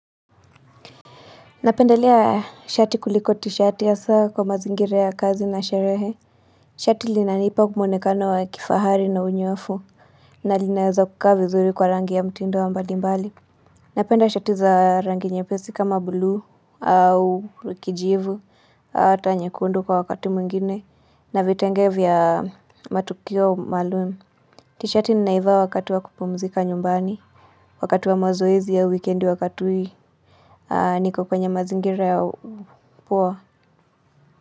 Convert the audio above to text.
Napendelea shati kuliko tishati hasa kwa mazingira ya kazi na sherehe Shati linanipa mwonekano wa kifahari na unyoafu na linaweza kukaa vizuri kwa rangi ya mtindo wa mbali mbali Napenda shati za rangi nyepesi kama buluu au kijivu Ata nyekundu kwa wakati mwingine na vitenge vya matukio maloon. Tishati ninaivaa wakati wa kupumzika nyumbani Wakati wa mazoezi ya wikendi wakati hii niko kwenye mazingira ya upo.